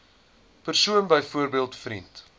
persoon byvoorbeeld vriend